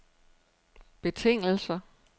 betingelser